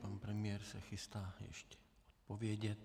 Pan premiér se chystá ještě odpovědět.